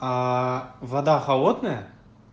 вода холодная